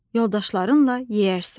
Yoldaşlarınla yeyərsən.